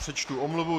Přečtu omluvu.